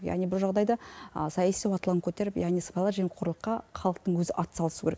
яғни бұл жағдайда саяси уатлан көтеріп яғни сыбайлас жемқорлыққа халықтың өзі атсалысу керек